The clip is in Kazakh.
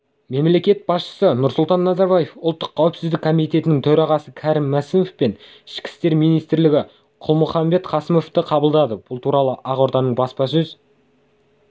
мемлекет басшысы нұрсұлтан назарбаев ұлттық қауіпсіздік комитетінің төрағасы кәрім мәсімов пен ішкі істер министрі қалмұханбет қасымовты қабылдады бұл туралы ақорданың баспасөз